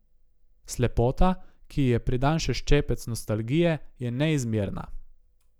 Slepota, ki ji je pridan še ščepec nostalgije, je neizmerna.